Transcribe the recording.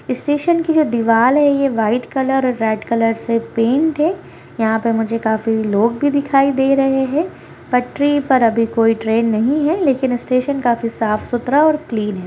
Station की जो दीवाल है ये व्हाइट कलर रेड कलर से पेन्ट है यहां पे मुझे काफी लोग भी दिखाई दे रहे है पटरी पर अभी कोई ट्रेन नहीं है लेकिन स्टेशन काफी साफ़-सुथरा और क्लीन है।